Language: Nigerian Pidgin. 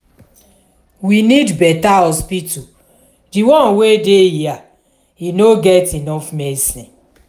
we need beta hospital di one wey dey here no get enough medicine.